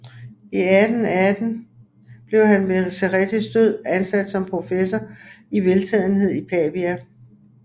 I 1808 blev han ved Cerrettis død ansat som professor i veltalenhed i Pavia